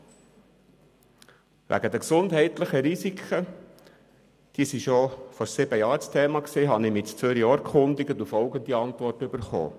Bezüglich der gesundheitlichen Risiken – diese waren bereits vor sieben Jahren ein Thema – habe ich mich ebenfalls in Zürich informiert und folgende Antwort erhalten: